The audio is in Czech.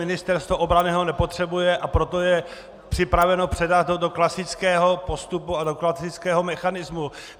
Ministerstvo obrany ho nepotřebuje, a proto je připraveno ho předat do klasického postupu a do klasického mechanismu.